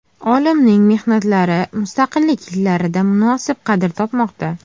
Olimning mehnatlari mustaqillik yillarida munosib qadr topmoqda.